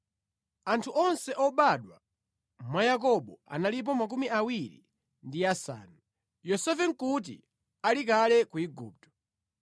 Anthu onse obadwa mwa Yakobo analipo 70. Yosefe nʼkuti ali kale ku Igupto.